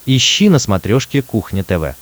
ищи на смотрешке кухня тв